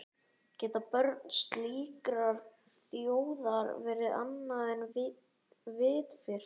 Geta börn slíkrar þjóðar verið annað en vitfirrt?